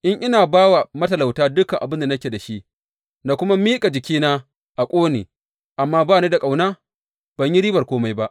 In na ba wa matalauta dukan abin da nake da shi, na kuma miƙa jikina a ƙone, amma ba ni da ƙauna, ban yi riban kome ba.